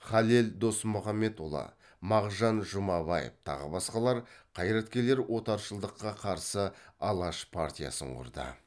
халел досмұхамедұлы мағжан жұмабаев тағы басқалар қайраткерлер отаршылдыққа қарсы алаш партиясын құрды